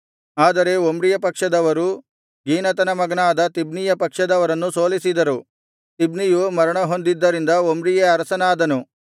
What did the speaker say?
ಆದರೆ ಒಮ್ರಿಯ ಪಕ್ಷದವರು ಗೀನತನ ಮಗನಾದ ತಿಬ್ನೀಯ ಪಕ್ಷದವರನ್ನು ಸೋಲಿಸಿದರು ತಿಬ್ನಿಯು ಮರಣ ಹೊಂದಿದ್ದರಿಂದ ಒಮ್ರಿಯೇ ಅರಸನಾದನು